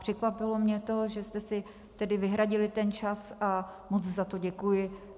Překvapilo mě to, že jste si tedy vyhradili ten čas, a moc za to děkuji.